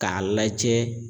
K'a lajɛ.